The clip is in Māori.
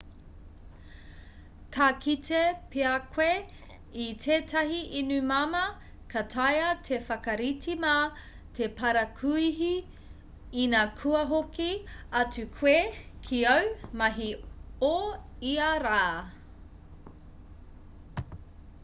ka kite pea koe i tētahi inu māmā ka taea te whakarite mā te parakuihi ina kua hoki atu koe ki āu mahi o ia rā